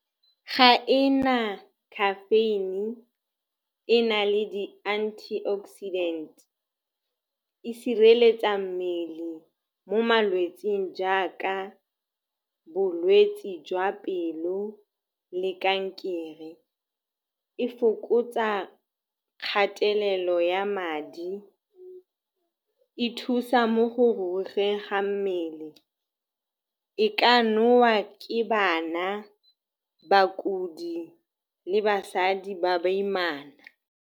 Ga e na caffeine, e na le di-antioxidant-e, e sireletsa mmele mo malwetseng jaaka bolwetse jwa pelo le kankere. E fokotsa kgatelelo ya madi, e thusa mo go rurugeng ga mmele. E ka nowa ke bana, bakodi le basadi ba baimana.